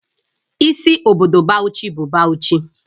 Isi obodo Bauchi bụ Bauchi